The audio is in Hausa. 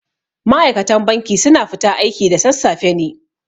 Ma'aikatan banki su na fita aiki da sassafe ne